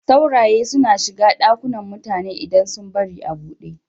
Sauraye suna shiga ɗakunan mutane idan sun bari a buɗe.